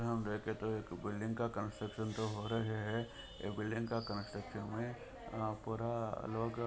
हम देखे तो एक बिल्डिग का कंस्ट्रक्शन तो हो राहै है बिल्डिग का कंस्ट्रक्शन मे पुरा अ अ लोग --